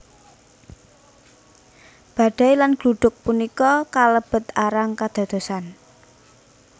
Badai lan gluduk punika kalebet arang kedadosan